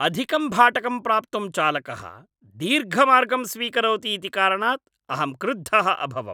अधिकं भाटकं प्राप्तुं चालकः दीर्घमार्गं स्वीकरोति इति कारणात् अहं क्रुद्धः अभवम्।